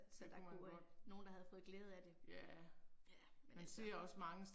Så der kunne være nogen der havde fået glæde af det. Ja, men altså